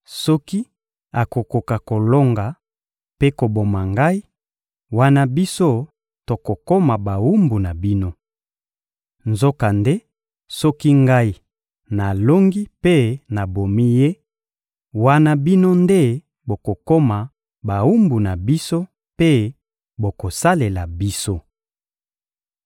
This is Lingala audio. Soki akokoka kolonga mpe koboma ngai, wana biso tokokoma bawumbu na bino. Nzokande soki ngai nalongi mpe nabomi ye, wana bino nde bokokoma bawumbu na biso mpe bokosalela biso.»